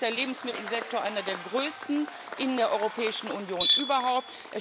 Übrigens ist der Lebensmittelsektor einer der größten in der Europäischen Union überhaupt.